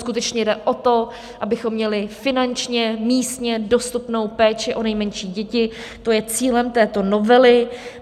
Skutečně jde o to, abychom měli finančně, místně dostupnou péči o nejmenší děti, to je cílem této novely.